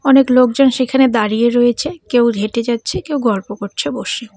অনেক লোকজন সেখানে দাঁড়িয়ে রয়েছে কেউ হেঁটে যাচ্ছে কেউ গল্প করছে বসে।